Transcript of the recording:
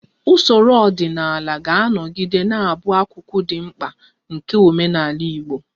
Usoro ọdịnala ga-anọgide na-abụ akụkụ dị mkpa nke omenala Igbo